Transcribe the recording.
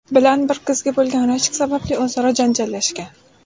bilan bir qizga bo‘lgan rashk sababli o‘zaro janjallashgan.